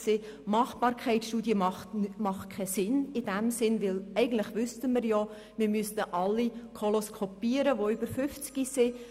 Eine Machbarkeitsstudie ist in dem Sinne nicht sinnvoll, denn eigentlich wüssten wir ja, dass man alle, die über 50 Jahre alt sind, koloskopieren müsste.